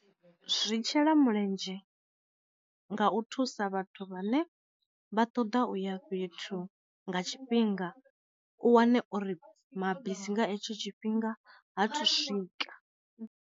Zwi tshela mulenzhe nga u thusa vhathu vhane vha ṱoḓa uya fhethu nga tshifhinga u wane uri mabisi nga hetsho tshifhinga ha thu swika.